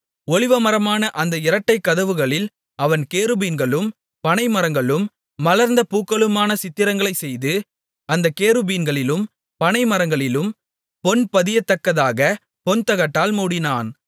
ஒலிவமரமான அந்த இரட்டைக் கதவுகளில் அவன் கேருபீன்களும் பனை மரங்களும் மலர்ந்த பூக்களுமான சித்திரங்களைச் செய்து அந்தக் கேருபீன்களிலும் பனை மரங்களிலும் பொன்பதியத்தக்கதாகப் பொன்தகட்டால் மூடினான்